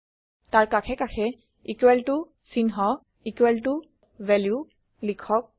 তাৰ কাষে কাষে equal ত চিহ্ন ভেলু লিখক